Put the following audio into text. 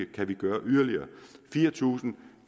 kan gøre fire tusind